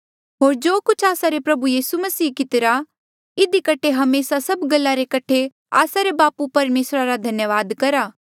होर जो कुछ आस्सा रे प्रभु यीसू मसीहे कितिरा इधी कठे हमेसा सभ गल्ला रे कठे आस्सा रे बापू परमेसरा रा धन्यावाद करा